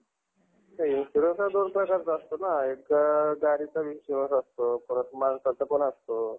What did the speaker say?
insurance तर असतो ना एक गाडीचा insurance असतो परत माणसाचा पण असतो.